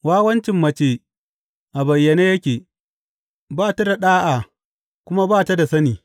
Wawancin mace a bayyane yake; ba ta da ɗa’a kuma ba ta da sani.